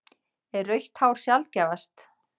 Er rautt hár sjaldgæfast?